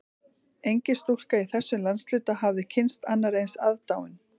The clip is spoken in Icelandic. Engin stúlka í þessum landshluta hafði kynnst annarri eins aðdáun